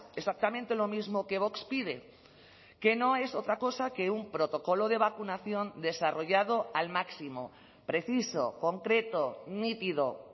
exactamente lo mismo que vox pide que no es otra cosa que un protocolo de vacunación desarrollado al máximo preciso concreto nítido